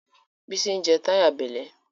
bisi je t'y'a belle